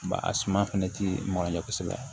Ba a suman fɛnɛ ti mɔgɔ ɲɛ kosɛbɛ